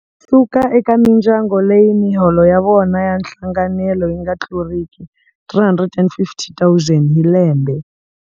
Suka eka mindyangu leyi miholo ya yona ya nhlanganelo yi nga tluriki R350 000 hi lembe.